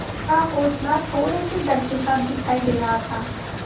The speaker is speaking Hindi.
का हौंसला थोड़े से डर के साथ दिखाई दे रहा था